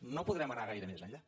no po·drem anar gaire més enllà